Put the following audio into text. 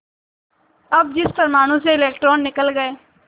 अब जिस परमाणु से इलेक्ट्रॉन निकल गए